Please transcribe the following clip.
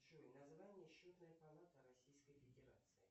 джой название счетной палаты российской федерации